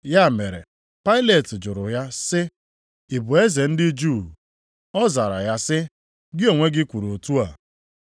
Ya mere Pailet jụrụ ya sị, “Ị bụ eze ndị Juu?” Ọ zara ya sị, “Gị onwe gị kwuru otu a.”